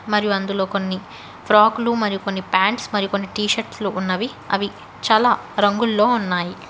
మరియు అందులో కొన్ని ప్రాకులు మరియు కొన్ని పాంట్స్ మరి కొన్ని టీషర్ట్స్ లు ఉన్నవి అవి చాలా రంగుల్లో ఉన్నాయి.